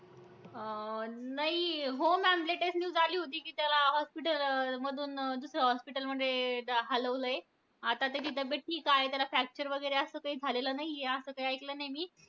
अं नाही, हो ma'am latest news आली होती, कि त्याला hospital अं मधून दुसऱ्या hospital मध्ये हलवलं आहे. आता त्याची त्याची तब्येत ठीक आहे. त्याला fracture वैगरे असं काही झालेलं नाहीये, असं काही ऐकलं नाही मी.